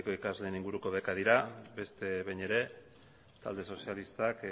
ikasleen inguruko bekak dira beste behin ere talde sozialistak